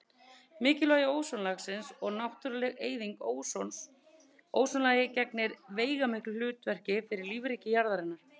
Mikilvægi ósonlagsins og náttúruleg eyðing ósons Ósonlagið gegnir veigamiklu hlutverki fyrir lífríki jarðarinnar.